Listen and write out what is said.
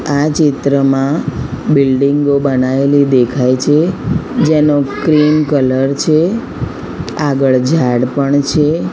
આ ચિત્રમાં બિલ્ડિંગો બનાવેલી દેખાય છે જેનુ ક્રીમ કલર છે આગળ ઝાડ પણ છે.